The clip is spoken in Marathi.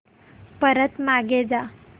परत मागे जा